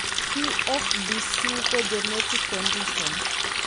PFBC ko genetic condition